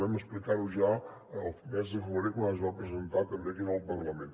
vam explicar ho ja al mes de febrer quan es va presentar també aquí en el parlament